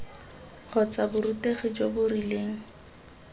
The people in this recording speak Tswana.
kgotsa borutegi jo bo rileng